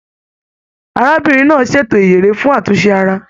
Arábìnrin náà ṣètò ìyèré fún àtúnṣe ara.